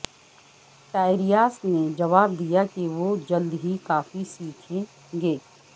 ٹائریاس نے جواب دیا کہ وہ جلد ہی کافی سیکھیں گے